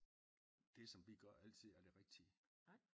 Det som vi gør altid er det rigtige